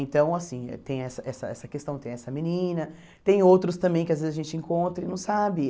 Então, assim tem essa essa essa questão, tem essa menina, tem outros também que às vezes a gente encontra e não sabe.